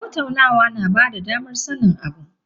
Tattaunawa na bada damar sanin abu.